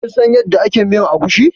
Kin san yada ake miyan agushi?